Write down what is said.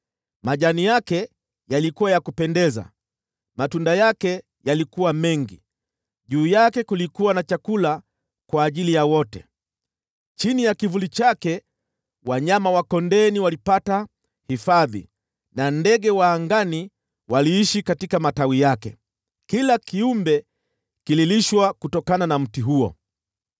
Majani yake yalikuwa ya kupendeza, matunda yake yalikuwa mengi, na juu yake kulikuwa na chakula kwa ajili ya wote. Chini ya kivuli chake wanyama wa kondeni walipata hifadhi, na ndege wa angani waliishi katika matawi yake. Kila kiumbe kililishwa kutokana na mti huo.